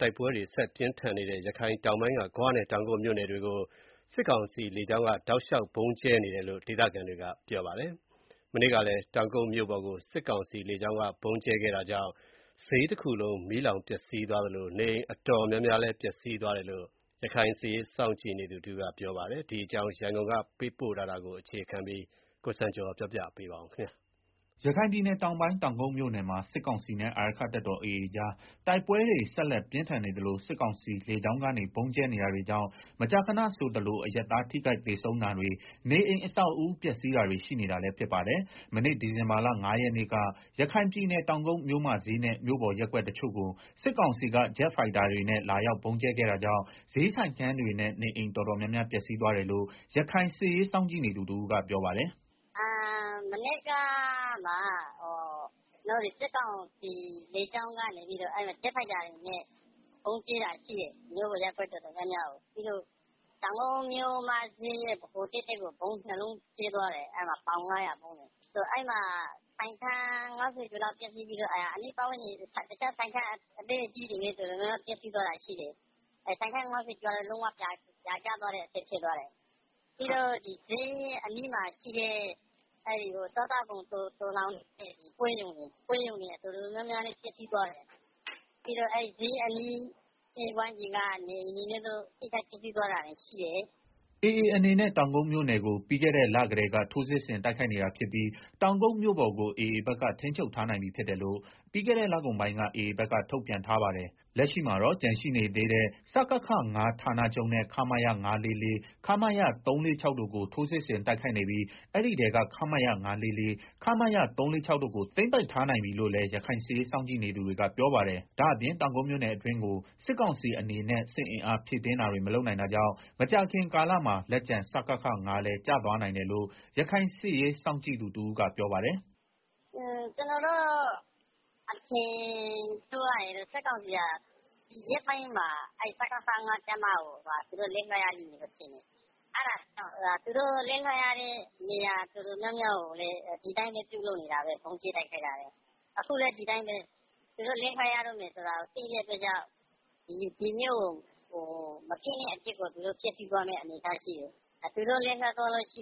တိုက်ပွဲတွေဆက်တိုက်ပြင်းထန်နေတဲ့ ရခိုင်တောင်ပိုင်းက ဂွနဲ့ တောင်ကုတ်မြို့နယ်တွေကို စစ်ကောင်စီလေကြောင်းက တောက်လျှောက်ဗုံးကြဲနေတယ်လို့ ဒေသခံတွေက ပြောပါတယ်။ မနေ့ကလည်း တောင်ကုတ်မြို့ပေါ်ကို စစ်ကောင်စီလေကြောင်းက ဗုံးကြဲခဲ့တာကြောင့် ဈေးတခုလုံး မီးလောင်ပျက်စီးသွားသလို နေအိမ်တော်တော်များများလည်း ပျက်စီးသွားတယ်လို့ ရခိုင်စစ်ရေးစောင့်ကြည့်နေသူတဦးက ပြောပါတယ်။ ဒီအကြောင်း ရန်ကုန်က သတင်းပေးပို့ထားတာကို ကိုစံကျော်က တင်ပြပေးထားပါတယ်။ ရခိုင်ပြည်နယ်တောင်ပိုင်း တောင်ကုတ်မြို့နယ်မှာ စစ်ကောင်စီနဲ့ အာရက္ခတပ်တော် AA ကြား တိုက်ပွဲတွေ ဆက်လက်ပြင်းထန်နေသလို စစ်ကောင်စီလေကြောင်းကနေ ဗုံးကြဲနေတာတွေကြောင့် မကြာခဏဆိုသလို အရပ်သား ထိခိုက်သေဆုံးတာတွေနဲ့ နေအိမ်အဆောက်အဦးတွေလည်း ပျက်စီးဆုံးရှုံးနေပါတယ်။ မနေ့ ဒီဇင်ဘာလ ၅ ရက်နေ့က ရခိုင်ပြည်နယ် တောင်ကုတ်မြို့မဈေးနဲ့ မြို့ပေါ်ရပ်ကွက်တချို့ကို စစ်ကောင်စီက ဂျက်ဖိုက်တာတွေနဲ့ လာရောက်ဗုံးကြဲခဲ့တာကြောင့် ဈေးဆိုင်ခန်းတွေနဲ့ နေအိမ် တော်တော်များများ ပျက်စီးသွားတယ်လို့ ရခိုင်စစ်ရေးစောင့်ကြည့်နေသူ တဦးက ပြောပါတယ်။ “မနေ့က စစ်ကောင်စီလေကြောင်းက ဂျက်ဖိုက်တာတွေနဲ့ ဗုံးကြဲတာ ရှိတယ် မြို့ပေါ်ရပ်ကွက် တော်တော်များများကို။ပြီးတော့ တောင်ကုတ် မြို့မဈေးကို ဗုံးနှစ်လုံးကြဲသွားတယ်။ ပေါင် ၅၀၀ ဗုံးလေ၊ အဲမှာ ဆိုင်းခန်း ၅၀ ကျော်လောက်ပျက်စီးသွားပြီးတော့ အနီးအနားကဆိုင်ခန်း အသေးအကြီးတွေ လည်း တော်တော်ပျက်စီးသွားတယ်။ ဆိုင်ခန်း၅၀ကျော်ကတော့ လုံးဝပြာကျသွားတဲ့အဆင့် ဖြစ်သွား တယ်။ ပြီးတော့ ဈေးအနီးမှာရှိတဲ့ စားသောက်ကုန်သိုလှောင်တဲ့ပွဲရုံတွေ တော်တော် ပျက်စီးသွားတယ်။ ပြီးတော့ ဈေးအနီးဝန်းကျင်က နေအိမ်တွေလည်း တော်တော်ပျက်စီးသွားတာရှိတယ်။” AA အနေနဲ့တောင်ကုတ်မြို့နယ်ကို ပြီးခဲ့တဲ့လကတည်းက ထိုးစစ်ဆင်တိုက်ခိုက်နေတာဖြစ်ပြီး တောင်ကုတ်မြို့ပေါ်ကိုAAဘက်က ထိန်းချုပ်ထားနိုင်ပြီးဖြစ်တယ်လို့ ပြီးခဲ့လကုန်ပိုင်းက AAဘက်က ထုတ်ပြန်ထားပါတယ်။ လက်ရှိမှာတော့ကျန်ရှိသေးတဲ့ စကခ ၅ ဌာနချုပ်နဲ့ ခမရ ၅၄၄၊ ခမရ ၃၄၆ တို့ကို ထိုးစစ်ဆင်တိုက်ခိုက်နေပြီး အဲဒီထဲက ခမရ ၅၄၄၊ခမရ ၃၄၆တို့ကို သိမ်းပိုက်ထားနိုင်ပြီးလို့လည်း ရခိုင်စစ်ရေးစောင့်ကြည့်သူတွေက ပြောပါတယ်။ ဒါ့အပြင် တောင်ကုတ်မြို့နယ်အတွင်းကို စစ်ကောင်စီအနေနဲ့ စစ်အင်အား ဖြည့်တင်းတာတွေ မလုပ်နိုင် တာကြောင့် မကြာခင်ကာလမှာ လက်ကျန် စကခ ၅ လည်း ကျသွားနိုင်တယ်လို့ ရခိုင်စစ်ရေး စောင့်ကြည့်သူတဦးကပြောပါတယ်။ “ကျနော်တို့ အထင်ပြောရရင်တော့ စကစဟာ ဒီရက်ပိုင်းမှာ သူတို့ လက်လွှတ်ရလိမ့်မယ်လို့ထင်တယ်။ သူတို့လက်လွှတ်ရမယ့် နေရာတော်တော်များများကိုလည်း ဒီအတိုင်းပဲ ဗုံးကြဲနေကျပဲ။ အခုလည်း ဒီအတိုင်းပဲ သူတို့လက်လွှတ်ရတော့မယ်ဆိုတာကို သိတဲ့အတွက်ကြောင့် ဒီမြို့ကို မပျက်,ပျက်အောင် ဖျက်စီးသွားမယ့် သဘောရှိတယ်။သူတို့ လက်လွှတ်ရတဲ့အခါ ဒီ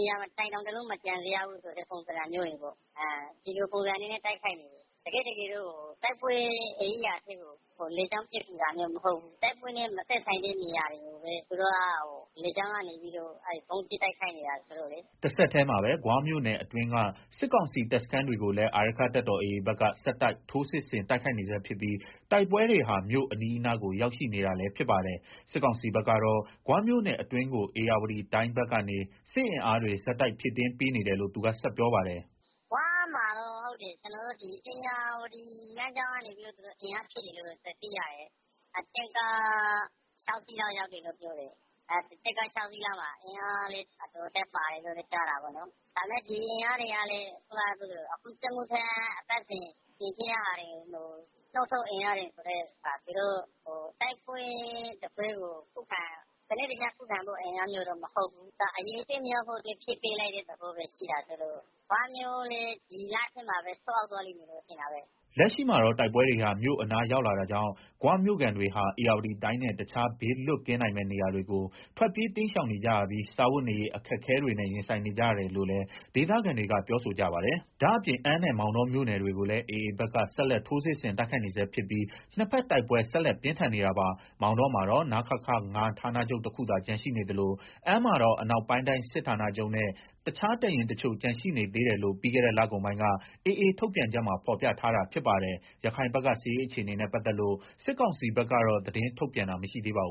နေရာတိုင်း တောင်တလုံးမကျန် အောင်ဆိုတဲ့ ပုံစံပေါ့၊ တကယ်တော့ တိုက်ပွဲနေရာတွေကိုလေကြောင်းပစ်ကူနေတာ မဟုတ်ဘူး။ တိုက်ပွဲနဲ့ မဆိုင်တဲ့ နေရာတွေကို ဗုံးကြဲနေတာဆိုတော့လေ။” တဆက်တည်းမှာပဲ ဂွမြို့နယ်အတွင်းက စစ်ကောင်စီတပ်စခန်းတွေကိုလည်း အာရက္ခတပ်တော်AA ဘက်ကဆက်တိုက်ထိုးစစ်ဆင်တိုက်ခိုက်နေဆဲဖြစ်ပြီး တိုက်ပွဲတွေဟာ မြို့အနီးအနားကို ရောက်ရှိနေ တာလည်းဖြစ်ပါတယ်။စစ်ကောင်စီဘက်ကတော့ ဂွမြို့နယ်အတွင်းကို ဧရာဝတီတိုင်းဘက်ကနေ စစ်အင်အားတွေ ဆက်တိုက်ဖြည့်ပေးနေတယ်လို့ သူက ဆက်ပြောပါတယ်။ “ဂွမှာတော့ သူတို့ ဧရာဝတီလမ်းကြောင်းကနေပြီးတော့ အင်အားဖြည့်တယ်လို့ သိရတယ်။ တင့်ကား ၆ စီး ရောက်တယ်လို့ပြောတယ်။ အဲဒီမှာ အင်အားလည်း အတော်အသင့်ပါတယ်လို့ကြားတယ်။ ဒါပေမယ့် ဒီအင်အားဟာလည်း အခုစစ်မှုထမ်း အပတ်စဉ်တွေထဲက ထုတ်နုတ်ပြီးတော့ ပို့တာဆိုတော့ သူတို့က တိုက်ပွဲတပွဲကို စနစ်တကျခုခံဖို့ အင်အားမျိုးတော့ မဟုတ်ဘူး။ အရေအတွက်များဖို့ပဲ ဖြည့်ပေးလိုက်တဲ့ သဘောဆိုတော့ ဂွမြို့လည်း ဒီလထဲမှာပဲ ကျသွားလိမ့်မယ်လို့ ထင်တာပဲ။” လက်ရှိမှာတော့ တိုက်ပွဲတွေ မြို့အနားရောက်လာတာကြောင့် ဂွမြို့ခံတွေဟာ ဧရာဝတီတိုင်းနဲ့ တခြား ဘေးလွတ်ကင်းနိုင်မယ့် နေရာတွေကို ထွက်ပြေးတိမ်းရှောင်နေကြရပြီး စားဝတ်နေရေး အခက်အခဲ တွေနဲ့ ရင်ဆိုင်နေကြရတယ်လို့လည်း ဒေသခံတွေကပြောဆိုကြပါတယ်။ ဒါ့အပြင် အမ်းနဲ့ မောင်တော ၎င်းမြို့နယ်တွေကိုလည်း AA ဘက်က ဆက်လက်ထိုးစစ်ဆင်တိုက်ခိုက်နေ ဆဲဖြစ်ပြီး နှစ်ဘက်တိုက်ပွဲဆက်လက်ပြင်းထန်နေတာပါ။ မောင်တောမှာတော့ နခခ ၅ ဌာနချုပ်တခုသာ ကျန်ရှိနေသလို အမ်းမှာတော့အနောက်ပိုင်းတိုင်းစစ်ဌာနချုပ်နဲ့ တခြားတပ်ရင်းတချို့ ကျန်ရှိနေသေး တယ်လို့ ပြီးခဲ့လကုန်ပိုင်းက AA ထုတ်ပြန်ချက်မှာ ဖော်ပြထားတာဖြစ်ပါတယ်။ ရခိုင်ဘက်က စစ်ရေးအခြေအနေနဲ့ပတ်သက်လို့ စစ်ကောင်စီဘက်ကတော့ သတင်းထုတ်ပြန်တာမရှိသေးပါဘူ